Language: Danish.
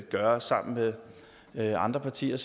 gøre sammen med med andre partier